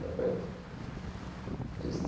Compreende?